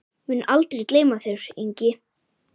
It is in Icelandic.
Mun aldrei gleyma þér, Ingi.